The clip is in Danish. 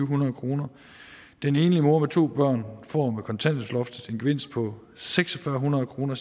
hundrede kroner den enlige mor med to børn får med kontanthjælpsloftet en gevinst på seks hundrede kroner